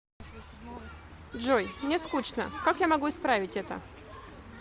джой мне скучно как я могу исправить это